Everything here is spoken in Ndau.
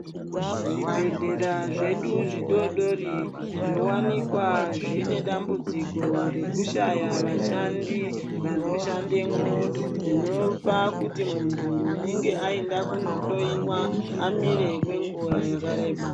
Zvibhedhlera zvedu zvidodori zvovanikwa zvine dambudziko rekushaya vashandi vanoshandemwo. Zvinopa kuti muntu unonga aenda kundohloiwa amire kwenguva yakareba.